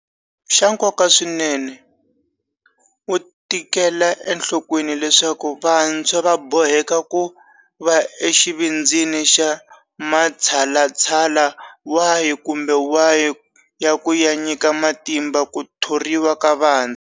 Xa nkoka swinene, wu tekela enhlokweni leswaku vantshwa va boheka ku va exivindzini xa matshalatshala wahi kumbe wahi ya ku ya nyika matimba ku thoriwa ka vantshwa.